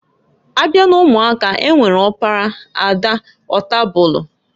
Abia n'umuaka, e nwere ọkpara, ada, ọtabulu.